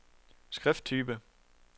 skrifttype